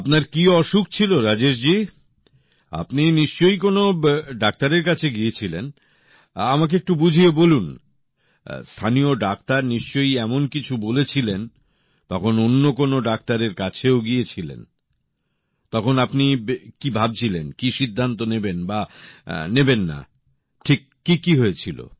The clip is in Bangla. আপনার কি অসুখ ছিল রাজেশ জি আপনি নিশ্চয়ই কোনো ডাক্তারের কাছে গিয়েছিলেন আমাকে একটু বুঝিয়ে বলুন স্থানীয় ডাক্তার নিশ্চয়ই এমন কিছু বলেছিলেন তখন অন্য কোনো ডাক্তারের কাছেও গিয়েছিলেন তখন আপনি কি ভাবছিলেন কি সিদ্ধান্ত নেবেন বা নেবেন না ঠিক কী কী হয়েছিল